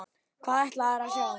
Hvað ætlarðu að sjá?